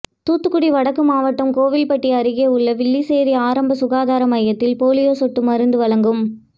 தூத்துக்குடி வடக்கு மாவட்டம் கோவில்பட்டியில் அருகேயுள்ள வில்லிசேரி ஆரம்பசுகாதார மையத்தில் போலியோ சொட்டு மருந்து வழங்கும்